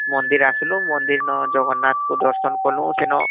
ମନ୍ଦିର ଆସିଲୁ ମନ୍ଦିର ନ ଜଗନ୍ନାଥ ଙ୍କୁ ଦର୍ଶନ କଲୁ ସେନ